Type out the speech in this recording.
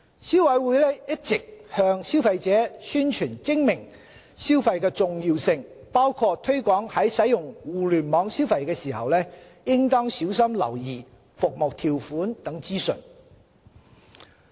消委會一直向消費者宣傳精明消費的重要性，包括推廣在使用互聯網消費時應小心留意服務條款等資訊。